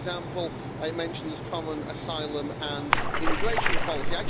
For example, it mentions common asylum and immigration policy.